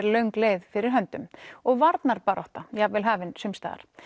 löng leið fyrir höndum og varnarbarátta jafnvel hafin sums staðar